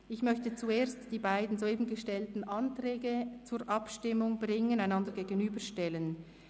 Ich möchte zuerst die beiden soeben gestellten Anträge zur Abstimmung bringen, sie einander gegenüberstellen.